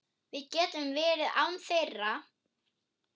Við getum verið án þeirra.